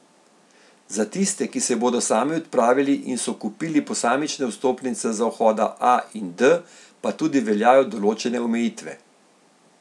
Za tiste, ki se bodo sami odpravili in so kupili posamične vstopnice za vhoda A in D, pa tudi veljajo določene omejitve.